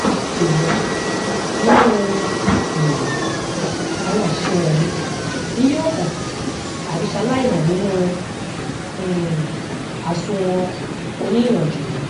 èwo nínu um àwọn àṣìṣe wọnyí ni yóò hàn àbí ṣalái hàn nínu um àsunwon oníìyànjú